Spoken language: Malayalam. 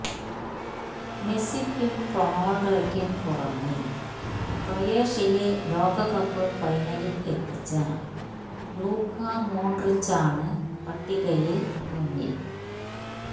മെസ്സിക്കും റൊണാൾഡോക്കും പുറമെ ക്രൊയേഷ്യയെ ലോകകപ്പ് ഫൈനലിൽ എത്തിച്ച ലൂക്ക മോഡ്രിച്ചാണ് പട്ടികയിൽ മുന്നിൽ